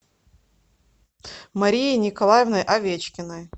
марией николаевной овечкиной